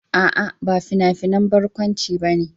A'a, ba fina-finan barkwanci ba ne